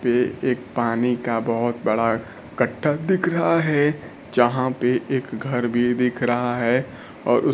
पे एक पानी का बहुत बड़ा गड्ढा दिख रहा है जहां पे एक घर भी दिख रहा है और उस--